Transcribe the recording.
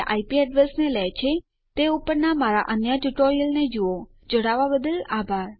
IIT Bombay તરફથી spoken tutorial project માટે recording કરનાર હું કૃપાલી પરમાર વિદાય લઉં છું